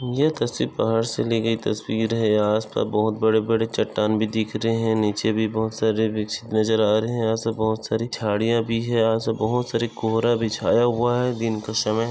ये तस्वीर बाहर से ली गई तस्वीर है यहाँ आसपास बहुत बड़े बड़े चट्टान भी दिख रहे है नीचे भी बहुत सारे वृक्ष नजर आ रहे है ऐसे बहुत सारी झाडीया भी है बहुत सारा कोहरा भी छाया हुआ है दिन का समय--